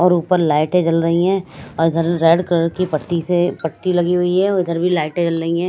और ऊपर लाइटें जल रही हैं और इधर रेड कलर की पट्टी से पट्टी लगी हुई है और इधर भी लाइटें जल रही हैं।